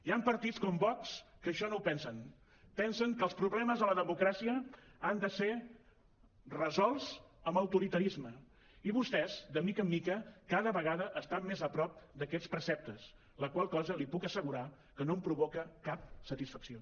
hi han partits com vox que això no ho pensen pensen que els problemes de la democràcia han de ser resolts amb autoritarisme i vostès de mica en mica cada vegada estan més a prop d’aquests preceptes la qual cosa li puc assegurar que no em provoca cap satisfacció